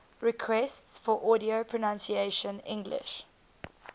requests for audio pronunciation english